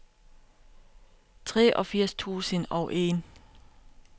treogfirs tusind og en